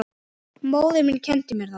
Móðir mín kenndi mér það.